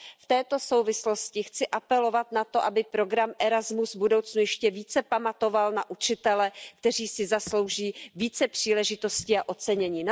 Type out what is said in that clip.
V této souvislosti chci apelovat na to, aby program Erasmus v budoucnu ještě více pamatoval na učitele, kteří si zaslouží více příležitostí a ocenění.